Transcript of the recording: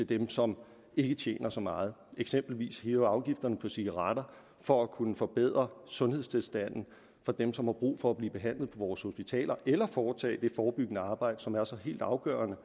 dem som ikke tjener så meget vi eksempelvis hæve afgiften på cigaretter for at kunne forbedre sundhedstilstanden for dem som har brug for at blive behandlet på vores hospitaler eller foretage det forebyggende arbejde som er så helt afgørende